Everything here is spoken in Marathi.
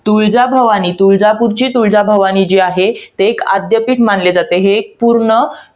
तुळजाभवानी. तुळजापूरची तुळजाभवानी, जी आहे. ती आद्यपीठ मानले जाते. हे एक पूर्ण